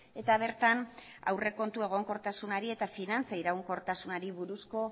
eta bertan aurrekontu egonkortasunari eta finantza iraunkortasunari buruzko